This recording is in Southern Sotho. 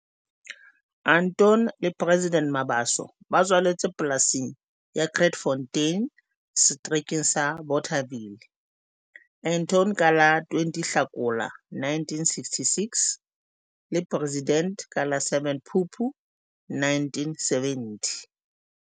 Anton le President Mabaso ba tswaletswe polasing ya Krytfontein Seterekeng sa Bothaville. Anton ka la 20 Hlakola 1966 le President ka la 7 Phupu 1970.